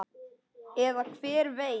Eða hver veit?